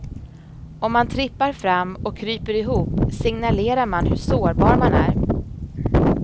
Om man trippar fram och kryper ihop signalerar man hur sårbar man är.